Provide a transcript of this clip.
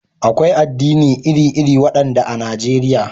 Akwai addinai iri-iri, waɗanda a Najeriya.